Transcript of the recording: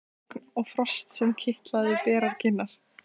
Það var stafalogn og frost sem kitlaði berar kinnar.